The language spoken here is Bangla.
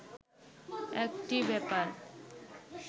একটি ব্যাপার